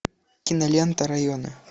кинолента районы